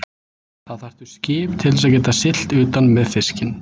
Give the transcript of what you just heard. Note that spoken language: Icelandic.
Þá þarftu skip til þess að geta siglt utan með fiskinn.